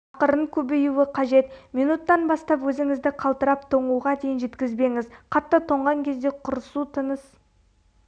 ақырын көбеюі қажет минуттан бастап өзіңізді қалтырап тоңуға дейін жеткізбеңіз қатты тоңған кезде құрысу тыныс